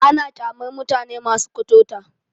Ana ƙyamar mutane masu kuturta.